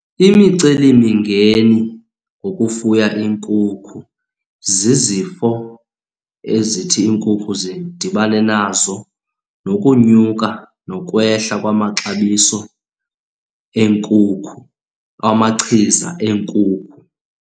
Imicelimingeni ngokufuya iinkukhu zizifo ezithi iinkukhu zidibane nazo nokunyuka nokwehla kwamaxabiso eenkukhu, amachiza eenkukhu.